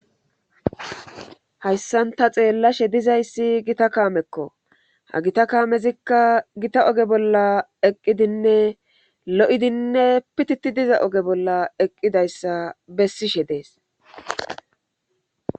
hayssanta xeellashe dizayssi gita kaamekko ha gita kaamezikka gita oge bolla eqqidinne lo7idinne pititi diza oge bolla eqqidayssa bessishe dees